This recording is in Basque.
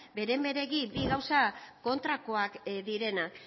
beren beregi bi gauza kontrakoak direnak